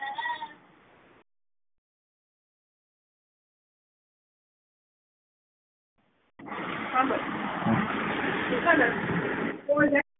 પાછળ નો અવાજ